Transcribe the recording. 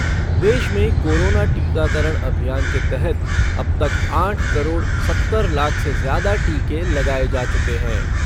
देश में कोरोना टीकाकरण अभियान के तहत अब तक आठ करोड़ सत्तर लाख से ज्यादा टीके लगाए जा चुके हैं।